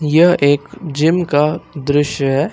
यह एक जिम का दृश्य है।